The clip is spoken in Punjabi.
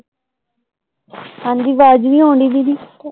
ਹਾਂਜੀ, ਵਾਜ ਨੀ ਆਉਣ ਡੇਈ ਦੀਦੀ